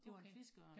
Det var en fiskeørn